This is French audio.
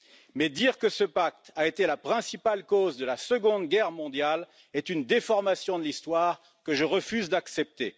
Mais dire que ce pacte a été la principale cause de la Seconde Guerre mondiale est une déformation de l'histoire que je refuse d'accepter.